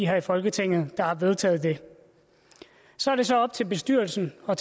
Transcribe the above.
her i folketinget der har vedtaget det så er det så op til bestyrelsen og